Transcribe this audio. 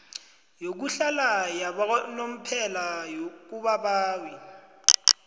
yokuhlala yakanomphela kubabawi